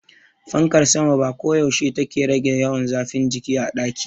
Fankar sama ba koyaushe take rage yawan zafin jiki a daki.